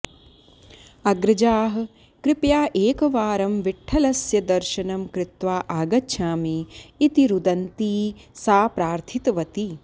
अग्रजाः कृपया एकवारं विठ्ठलस्य दर्शनं कृत्वा आगच्छामि इति रुदन्ती सा प्रार्थितवती